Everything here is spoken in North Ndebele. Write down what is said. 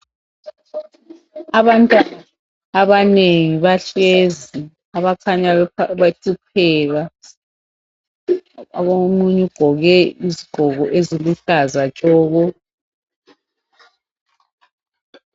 Abantwana abanengi bahlezi abakhanya behlupheka . Omunye ugqoke isigqoko esiluhlaza tshoko.